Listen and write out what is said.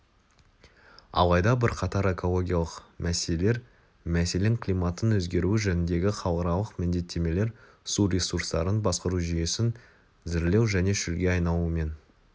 алайда бірқатар экологиялық мселелер мселен климаттың өзгеруі жөніндегі халықаралық міндеттемелер су ресурстарын басқару жүйесін зірлеу және шөлге айналумен